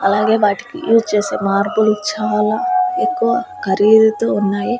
అలాగే వాటికి యూస్ చేసే మార్బులు చాలా ఎక్కువ ఖరీదుతో ఉన్నాయి.